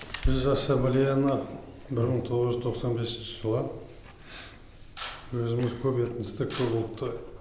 біз ассамблеяны бір мың тоғыз жүз тоқсан бесінші жылы өзіміз көп этносты көп ұлтты